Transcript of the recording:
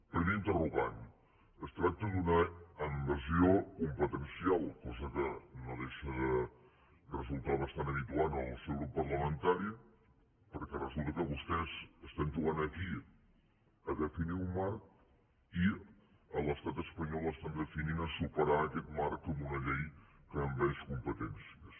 primer interrogant es tracta d’una invasió competencial cosa que no deixa de resultar bastant habitual en el seu grup parlamentari perquè resulta que vostès estan jugant aquí a definir un marc i a l’estat espanyol estan definint a superar aquest marc amb una llei que envaeix competències